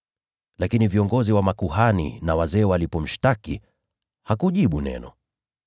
Lakini viongozi wa makuhani na wazee walipomshtaki, hakujibu neno.